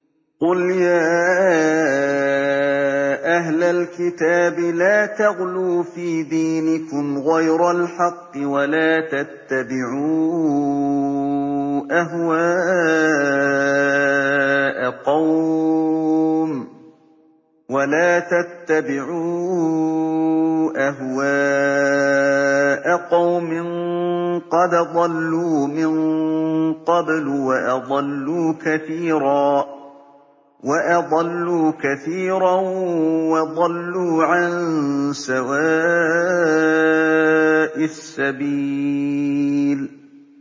قُلْ يَا أَهْلَ الْكِتَابِ لَا تَغْلُوا فِي دِينِكُمْ غَيْرَ الْحَقِّ وَلَا تَتَّبِعُوا أَهْوَاءَ قَوْمٍ قَدْ ضَلُّوا مِن قَبْلُ وَأَضَلُّوا كَثِيرًا وَضَلُّوا عَن سَوَاءِ السَّبِيلِ